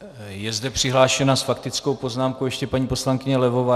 Je zde přihlášena s faktickou poznámkou ještě paní poslankyně Levová.